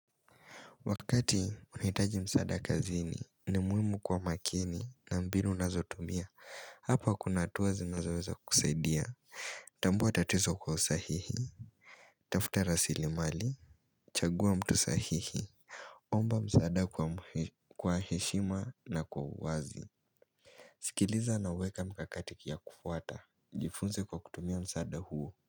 Wakati unahitaji msaada kazini ni muhimu kuwa makini na mbinu nazotumia Hapa kuna hatua zinazoweza kusaidia Tambua tatizo kwa usahihi Tafuta rasilimali, chagua mtu sahihi Omba msaada kwa heshima na kwa uwazi sikiliza nauweke mikakati ya kufuata. Jifunze kwa kutumia msaada huo.